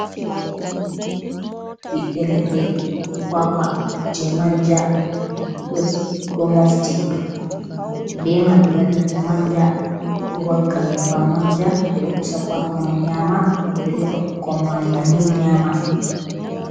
Ɓiɓɓe leɗɗe. Kwakwa je manja ɗo mofti, be man ɓe waɗirta manja ɗo wakka nyebbam manja. Ɓe ɗo pusa kwaka man nyaama, ɓe ɗo defa ɓukkon man bannin nyaama.